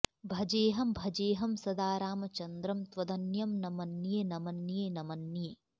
भजेऽहं भजेऽहं सदा रामचन्द्रं त्वदन्यं न मन्ये न मन्ये न मन्ये